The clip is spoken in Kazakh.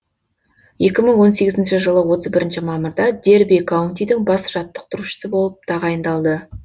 екі мың он сегізінші жылы отыз бірінші мамырда дерби каунтидің бас жаттықтырушысы болып тағайындалды